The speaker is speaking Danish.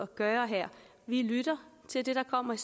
gøre her vi lytter til det der kommer i